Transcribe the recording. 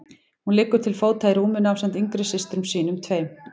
Hún liggur til fóta í rúminu ásamt yngri systrum sínum tveim.